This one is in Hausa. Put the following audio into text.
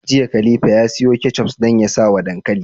Jiya khalifa ya siyo ketchup dan ya sawa dankali